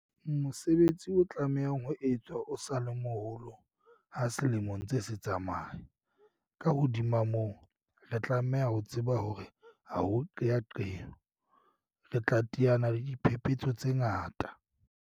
Mosebetsi o tlamehang ho etswa o sa le moholo ha selemo se ntse se tsamaya. Ka hodimo ho moo, re tlameha ho tseba hore ha ho qeaqeo, re tla teana le diphephetso tse ngata.